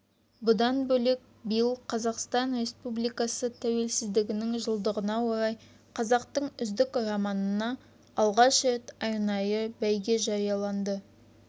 бұдан бөлек биыл қазақстан республикасы тәуелсіздігінің жылдығына орай қазақтың үздік романына алғаш рет арнайы бәйге жарияланды